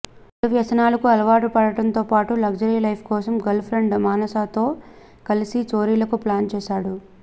చెడు వ్యసనాలకు అలవాటు పడటంతో పాటు లగ్జరీ లైఫ్ కోసం గర్ల్ఫ్రెండ్ మానసతో కలిసి చోరీలకు ప్లాన్ చేశాడు